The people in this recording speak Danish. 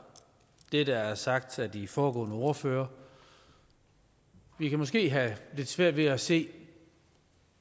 det der er sagt af de foregående ordførere vi kan måske have lidt svært ved at se